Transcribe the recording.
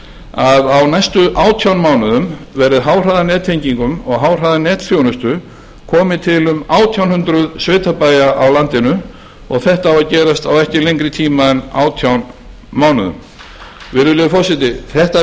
að á næstu átján mánuðum verði háhraðanettengingum og háhraðanetþjónustu komið til um átján hundruð sveitabæja á landinu og þetta á að gerast á ekki lengri tíma en átján mánuðum virðulegur forseti þetta